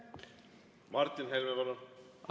Martin Helme, palun!